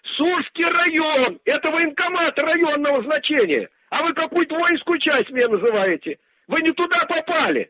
сульский район это военкомата районного значения а вы мне какую-то воинскую часть мне называете вы не туда попали